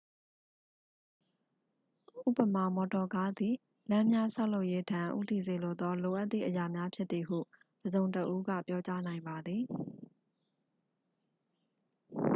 ဥပမာ မော်တော်ကားသည် လမ်းများဆောက်လုပ်ရေးထံ ဦးတည်စေသော လိုအပ်သည့်အရာများဖြစ်သည်ဟု တစ်စုံတစ်ဦးက ပြောကြားနိုင်ပါသည်